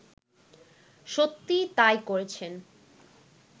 সত্যিই তাই করেছেন